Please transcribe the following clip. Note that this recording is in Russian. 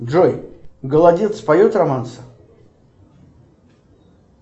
джой голодец поет романсы